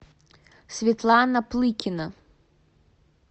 светлана плыкина